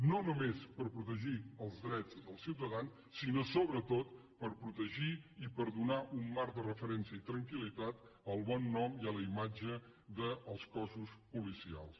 no només per protegir els drets dels ciutadans sinó sobretot per protegir i per donar un marc de referència i tranquil·litat al bon nom i a la imatge dels cossos policials